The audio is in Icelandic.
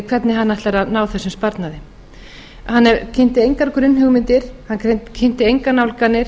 hvernig hann ætlar að ná þessum sparnaði hann kynnti engar grunnhugmyndir hann kynnti engar nálganir